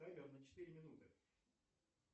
таймер на четыре минуты